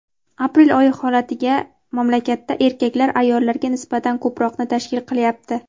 aprel oyi holatiga mamlakatda erkaklar ayollarga nisbatan ko‘proqni tashkil qilyapti.